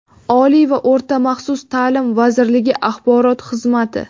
Oliy va o‘rta maxsus taʼlim vazirligi Axborot xizmati.